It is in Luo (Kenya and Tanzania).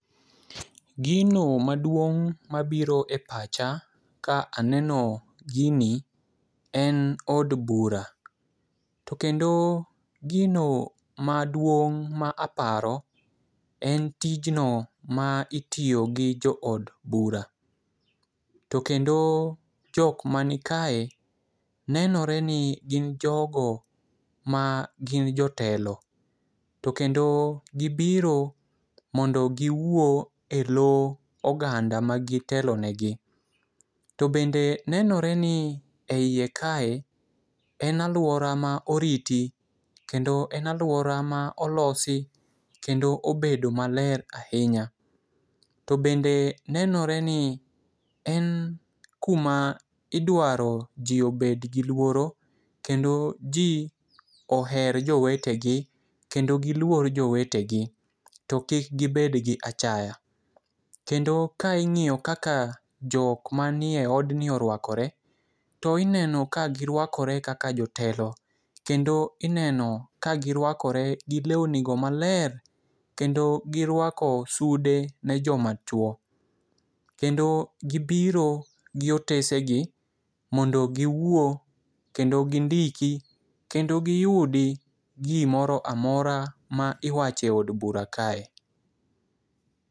Gino maduong' mabiro e pacha ka aneno gini en od bura . To kendo gino maduong' ma aparo en tijno ma itiyo gi jo od bura. To kendo jok mani kae, nenore ni gin jogo ma gin jotelo to kendo gibiro mondo giwuo e loo oganda magitelo ne gi . To bende nenore ni e iye kae en aluora ma oriti kendo en aluora ma olosi kendo obedo maler ahinya. To bende nenore ni en kuma idwaro jii obed gi luoro kendo jii oher jowetegi kendo giluor jowetegi. To kik gibed gi achaya. Kendo ka ing'iyo kaka jok manie odni orwakore to ineno ka girwakore kaka jotelo kendo ineno ka girwakore gi lewni go maler kendo girwako sude ne joma chuo . Kendo gibiro gi otese gi mondo giwuo kendo gi ndiki kendo giyudi gimoro amora miwache od bura kae.